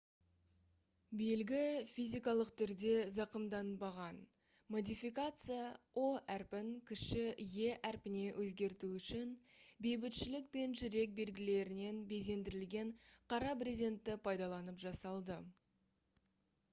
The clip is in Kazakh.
белгі физикалық түрде зақымданбаған; модификация «o» әрпін кіші «e» әрпіне өзгерту үшін бейбітшілік пен жүрек белгілерімен безендірілген қара брезентті пайдаланып жасалды